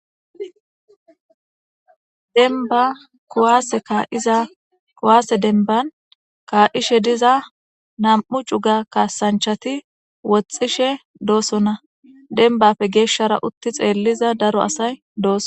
denba kuwaase kaa7iza kuwaase denban kaa7ishe diza nam7u cuga kaasanchati woxxishe doosonna denbafe geeshshara utti xeelliza daro asay dooso